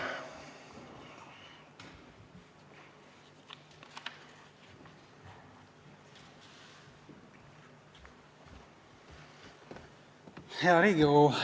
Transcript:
Hea Riigikogu!